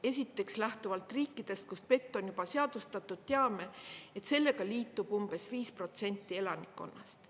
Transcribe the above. Esiteks, lähtuvalt riikidest, kus PET on juba seadustatud, teame, et sellega liitub umbes 5% elanikkonnast.